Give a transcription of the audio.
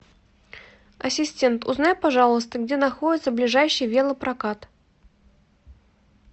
ассистент узнай пожалуйста где находится ближайший велопрокат